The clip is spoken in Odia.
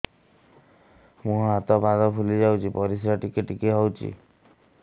ମୁହଁ ହାତ ପାଦ ଫୁଲି ଯାଉଛି ପରିସ୍ରା ଟିକେ ଟିକେ ହଉଛି